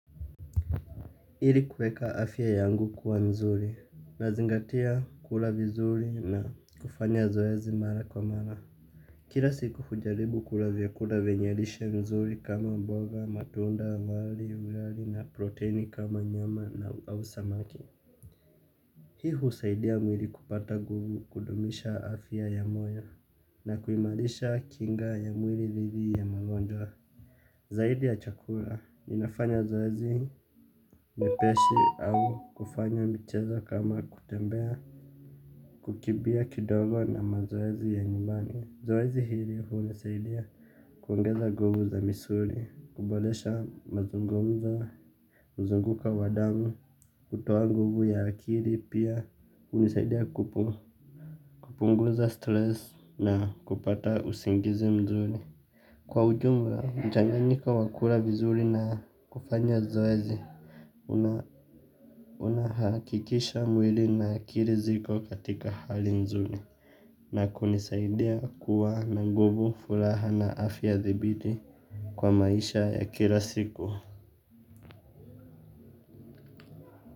Ili kweka afia yangu kuwa mzuri. Nazingatia kula vizuri na kufanya zoezi mara kwa mara. Kira siku kujaribu kula vyakula venye lishe mzuri kama mboga, matunda, wali, wali na proteini kama nyama na au samaki. Hii usaidia mwili kupata nguvu kudumisha afia ya moyo na kuimalisha kinga ya mwili dhidi ya magonjwa. Zaidi ya chakura, ninafanya zoezi mepesi au kufanya mchezo kama kutembea, kukimbia kidogo na mazoezi ya nyumbani. Zoezi hili hunisaidia kuongeza nguvu za misuli, kuboresha mazungumzo, mzunguko wa damu, kutoa nguvu ya akili pia hunisaidia kupunguza stress na kupata usingizi mzuri. Kwa ujumla mchanganyika wa kula vizuri na kufanya zoezi unahakikisha mwili na akili ziko katika hali nzuri na kunisaidia kuwa na nguvu, furaha na afya thabiti kwa maisha ya kila siku.